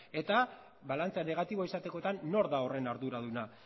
eta balantzea negatiboa izatekotan nor da horren arduraduna